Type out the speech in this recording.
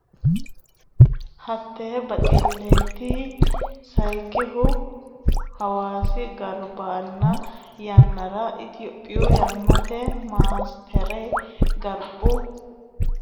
Hatte baxilleeti Sayikkihu Hawaasi garbinna yannara Itophiyu yannitte masteri garbu qarqarira kalaqamunnirenna pilaane qixxaabbinosi katami Hawaasa daa ataanote hasiissannore biifinse callaati.